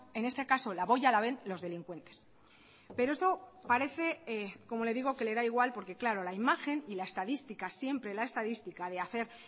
en este caso la boya la ven los delincuentes pero eso parece como le digo que le da igual porque claro la imagen y la estadística siempre la estadística de hacer